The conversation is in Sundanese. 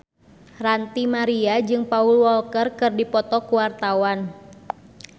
Ranty Maria jeung Paul Walker keur dipoto ku wartawan